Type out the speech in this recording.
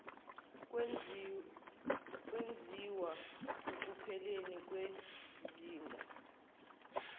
kwenziwa ukupheleni kwezinga